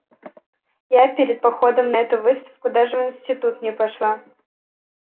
я перед походом на эту выставку даже в институт не пошла